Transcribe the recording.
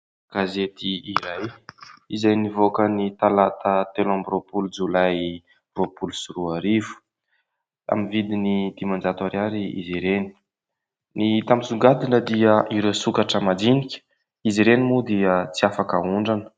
Gazety iray izay nivoaka ny talata telo amby roapolo jolay roapolo sy roa arivo. Amin'ny vidiny dimanjato ariary izy ireny. Ny hita misongadina dia ireo sokatra majinika izy ireny moa dia tsy afaka aondrana.